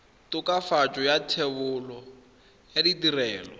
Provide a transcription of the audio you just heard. tokafatso ya thebolo ya ditirelo